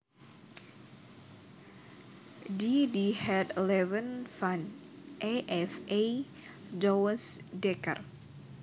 D D Het leven van E F E Douwes Dekker